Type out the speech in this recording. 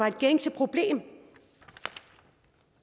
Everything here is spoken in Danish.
et gængs problem